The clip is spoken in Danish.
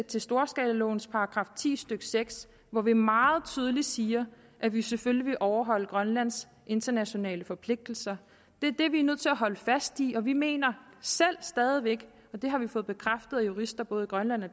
til storskalalovens § ti stykke seks hvor vi meget tydeligt siger at vi selvfølgelig vil overholde grønlands internationale forpligtelser det er vi nødt til at holde fast i og vi mener selv stadig væk og det har vi fået bekræftet af jurister både i grønland og